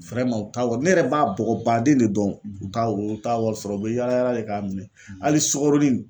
u t'a ne yɛrɛ b'a bɔgɔba den de dɔn ,, u t'a wa u t'a wari sɔrɔ u bɛ yaala yaala de k'a minɛ hali sukaronin in